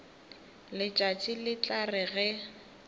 letšatši le tla re ge